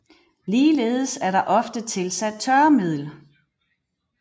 Ligeledes er der ofte tilsat tørremiddel